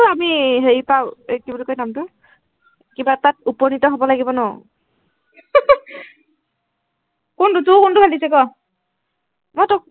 আমি হেৰিৰ পৰা এৰ কি বুলি কয়, নামটো। কিবা এটাত উপনিত হব লাগিব ন, কোনটো, তোৰ কোনটো ভাল লাগিছে ক, মই তোক